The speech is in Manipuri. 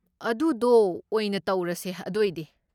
ꯑꯗꯨꯗꯣ ꯑꯣꯏꯅ ꯇꯧꯔꯁꯦ ꯑꯗꯣꯏꯗꯤ꯫